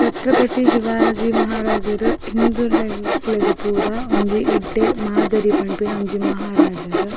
ಛತ್ರಪತಿ ಶಿವಾಜಿ ಮಹಾರಾಜೆರ್ ಹಿಂದುನಕ್ಲೆಗ್ ಪೂರ ಒಂಜಿ ಎಡ್ಡೆ ಮಾದರಿ ಪನ್ಪಿನ ಒಂಜಿ ಮಹಾರಾಜೆರ್.